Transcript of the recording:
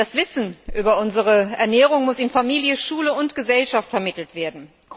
Das Wissen über unsere Ernährung muss in Familie, Schule und Gesellschaft vermittelt werden.